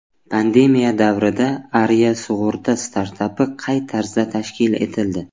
Pandemiya davrida Aria sug‘urta startapi qay tarzda tashkil etildi.